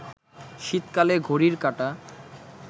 শীতকালে ঘড়ির কাঁটা